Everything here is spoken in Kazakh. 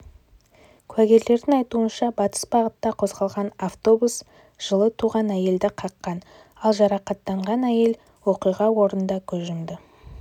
куәгерлердің айтуынша батыс бағытта қозғалған автобус жылы туған әйелді қаққан алған жарақатынан әйел оқиға орынында көз